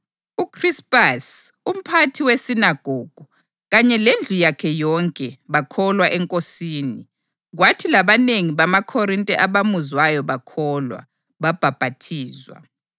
UKhrispasi, umphathi wesinagogu, kanye lendlu yakhe yonke bakholwa eNkosini; kwathi labanengi bamaKhorinte abamuzwayo bakholwa, babhaphathizwa.